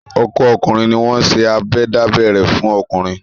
Ọkọ́ ọkùnrin ni wọ́n ń ṣe abẹ dábẹ́ rẹ̀ fún ọkùnrin.